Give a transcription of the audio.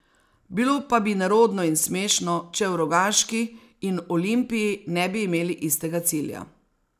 Bilo pa bi nerodno in smešno, če v Rogaški in Olimpiji ne bi imeli istega cilja.